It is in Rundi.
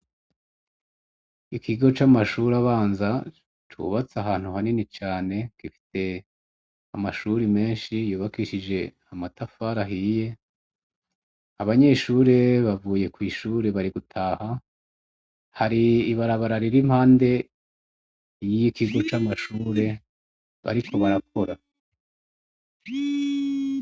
Ikigo c'amashure abanza cubatse ahantu hanini cane gifise amashuri menshi yubakishije amatafari ahiye, abanyeshure bavuye kw'ishure bari gutaha hari ibarabara riri impande y'ikigo c'amashure bariko barakora.